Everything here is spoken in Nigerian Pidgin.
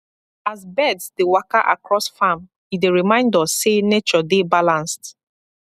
as birds dey waka across farm e dey remind us say nature dey balanced